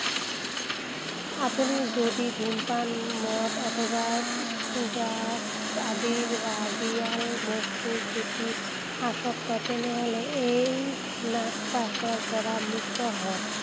আপুনি যদি ধূমপান, মদ অথবা drugs আদি ৰাগিয়াল বস্তুৰ প্ৰতি আসক্ত, তেনেহ’লে এই নাগপাশৰপৰা মুক্ত হওঁক।